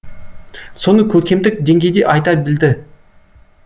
соны көркемдік деңгейде айта білді